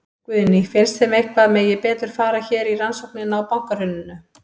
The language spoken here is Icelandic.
Guðný: Finnst þeim að eitthvað megi betur fara hér í rannsóknina á bankahruninu?